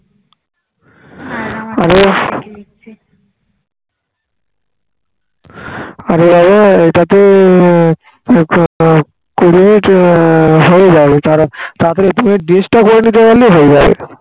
আরে বাবা এই টা তো কুড়ি minute আহ হয়ে যাবে তাড়াতাড়াতাড়ি তুমি dress টা পড়ে নিতে পারলে হয়ে যাবে